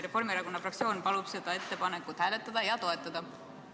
Reformierakonna fraktsioon palub seda ettepanekut hääletada ja toetada!